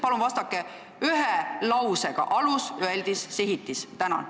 Palun vastake ühe lausega: alus, öeldis, sihitis.